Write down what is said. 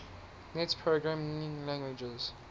net programming languages